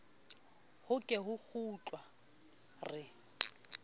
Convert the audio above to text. ho ke ho kgutlwa re